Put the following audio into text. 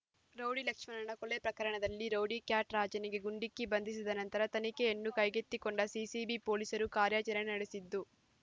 rowdy ಲಕ್ಷ್ಮಣನ ಕೊಲೆ ಪ್ರಕರಣದಲ್ಲಿ ರೌಡಿ ಕ್ಯಾಟ್ ರಾಜನಿಗೆ ಗುಂಡಿಕ್ಕಿ ಬಂಧಿಸಿದ ನಂತರ ತನಿಖೆಯನ್ನು ಕೈಗೆತ್ತಿಕೊಂಡ ಸಿಸಿಬಿ ಪೊಲೀಸರು ಕಾರ್ಯಾಚರಣೆ ನಡೆಸಿದ್ದು